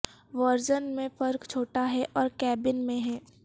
version میں فرق چھوٹا ہے اور کیبن میں ہے